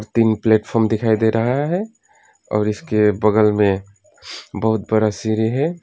तीन प्लेटफार्म दिखाई दे रहा है और इसके बगल में बहुत बड़ा सिरी है।